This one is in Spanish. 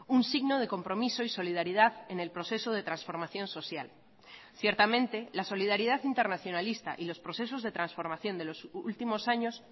un signo de compromiso y solidaridad en el proceso de transformación social ciertamente la solidaridad internacionalista y los procesos de transformación de los últimos años